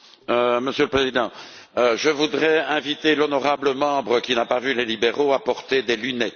Monsieur le Président, je voudrais inviter l'honorable membre qui n'a pas vu les libéraux à porter des lunettes.